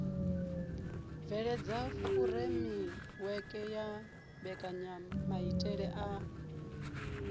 bveledza furemiweke ya mbekanyamaitele a